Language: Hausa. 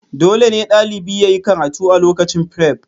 Dole ne ɗalibi yayi karatu a lokacin firef